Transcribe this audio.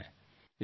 धन्यवाद्